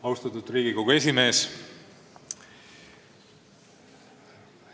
Austatud Riigikogu esimees!